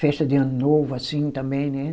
Festa de Ano Novo, assim, também, né?